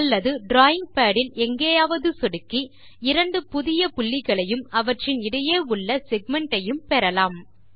அல்லது drawing pad இல் எங்காவது சொடுக்கி இரண்டு புதிய புள்ளிகளையும் அவற்றின் இடையே உள்ள செக்மென்ட் ஐயும் பெறலாம்